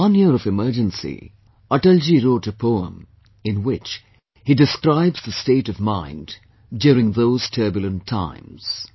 After one year of Emergency, Atal ji wrote a poem, in which he describes the state of mind during those turbulent times